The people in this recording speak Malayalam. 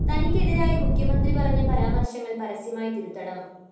തനിയ്ക്ക് എതിരായി മുഖ്യമന്ത്രി പറഞ്ഞ പരാമര്‍ശങ്ങള്‍ പരസ്യമായി തിരുത്തണം